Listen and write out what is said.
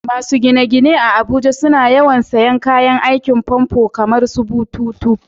Masu gine-gine a Abuja suna yawan sayen kayan aikin famfo kamarsu bututu.